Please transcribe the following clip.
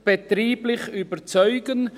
Dieses Projekt muss betrieblich überzeugen.